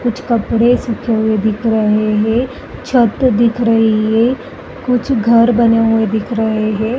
कुछ कपड़े सूखे हुए दिख रहे हैं। छत दिख रही है। कुछ घर बने हुए दिख रहे हैं।